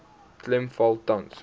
klem val tans